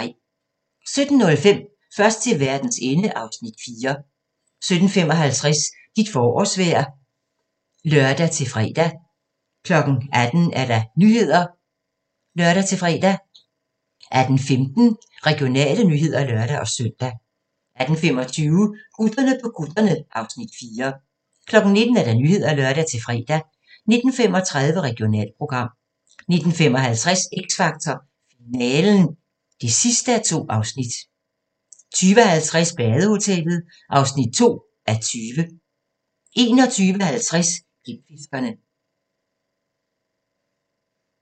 17:05: Først til verdens ende (Afs. 4) 17:55: Dit forårsvejr (lør-fre) 18:00: Nyhederne (lør-fre) 18:15: Regionale nyheder (lør-søn) 18:25: Gutterne på kutterne (Afs. 4) 19:00: Nyhederne (lør-fre) 19:35: Regionalprogram 19:55: X Factor - finalen (2:2) 20:50: Badehotellet (2:20) 21:50: Klipfiskerne